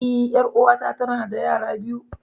Eh, ƴar'uwata tanada yara biyu.